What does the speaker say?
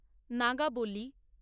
নাগাবলি